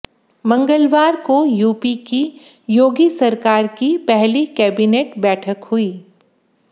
मंगलवार को यूपी की योगी सरकार की पहली कैबिनेट बैठक हुई